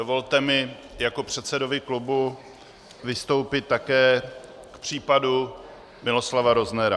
Dovolte mi jako předsedovi klubu vystoupit také k případu Miloslava Roznera.